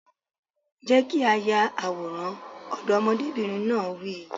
Jẹ́ kí a yà àwòrán! Ọmọdébìnrin náà wí.